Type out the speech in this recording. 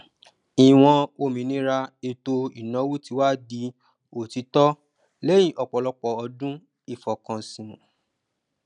ìwọn òmìnira ètò ìnáwó tí wá di òtítọ lẹyìn ọpọlọpọ ọdún ìfọkànsìn